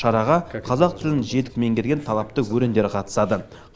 шараға қазақ тілін жетік меңгерген талапты өрендер қатысады